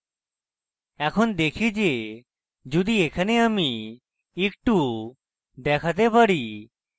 এখন দেখি যে যদি এখানে আমি একটু দেখাতে পারি